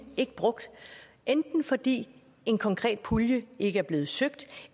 ikke brugt enten fordi en konkret pulje ikke er blevet søgt